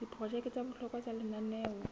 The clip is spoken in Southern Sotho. diprojeke tsa bohlokwa tsa lenaneo